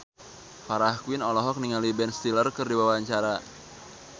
Farah Quinn olohok ningali Ben Stiller keur diwawancara